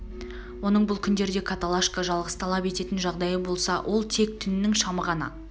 оның бұл күндерде каталашка жалғыз талап ететін жағдайы болса ол тек түнінің шамы ғана